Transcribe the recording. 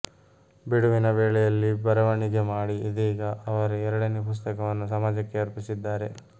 ಬಿಡುವಿನ ವೇಳೆಯಲ್ಲಿ ಬರವಣೆಗೆ ಮಾಡಿ ಇದೀಗ ಅವರ ಎರಡನೇ ಪುಸ್ತಕವನ್ನು ಸಮಾಜಕ್ಕೆ ಅರ್ಪಿಸಿದ್ದಾರೆ